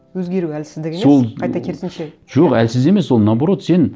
өзгеру әлсіздік емес сол қайта керісінше жоқ әлсіз емес ол наоборот сен